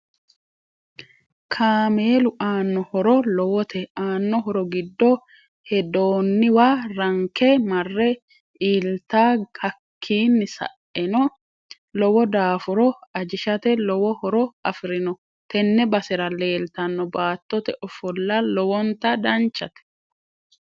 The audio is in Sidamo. Kaameelu aano horo lowote aanno horo giddo hedooniwa ranke marre iilta hakiini sa'enno lowo daafuro ajishate lowo horo afirinno tenne basera leeltanno baattote ofolla lowonta danchate